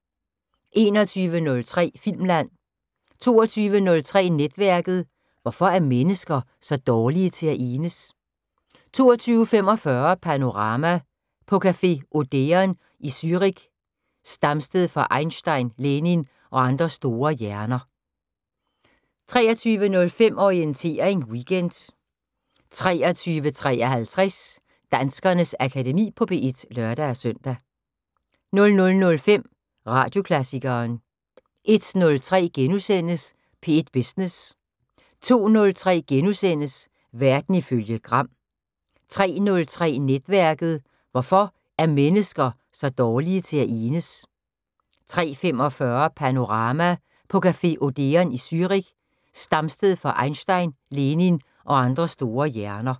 21:03: Filmland 22:03: Netværket: Hvorfor er mennesker så dårlige til at enes? 22:45: Panorama: På café Odeon i Zürich, stamsted for Einstein, Lenin og andre store hjerner 23:05: Orientering Weekend 23:53: Danskernes Akademi på P1 (lør-søn) 00:05: Radioklassikeren 01:03: P1 Business * 02:03: Verden ifølge Gram * 03:03: Netværket: Hvorfor er mennesker så dårlige til at enes? 03:45: Panorama: På café Odeon i Zürich, stamsted for Einstein, Lenin og andre store hjerner